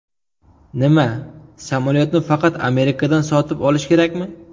Nima, samolyotni faqat Amerikadan sotib olish kerakmi?